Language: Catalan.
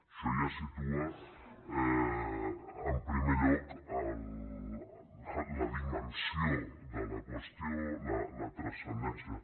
això ja situa en primer lloc la dimensió de la qüestió la transcendència